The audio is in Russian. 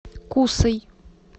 кусой